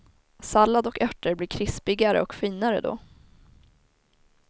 Sallad och örter blir krispigare och finare då.